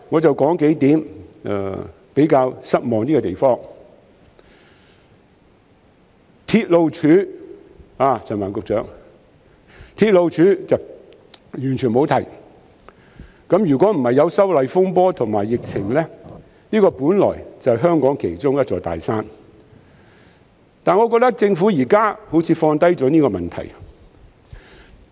陳帆局長要留意，關於"鐵路署"，施政報告是完全沒有提到的，如果不是有修例風波和疫情，這本來就是香港其中一座大山，但我覺得政府現時好像放下了這個問題。